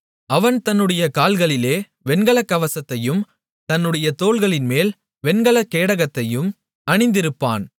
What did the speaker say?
அவன் தன்னுடைய கால்களிலே வெண்கலக் கவசத்தையும் தன்னுடைய தோள்களின்மேல் வெண்கலக் கேடகத்தையும் அணிந்திருப்பான்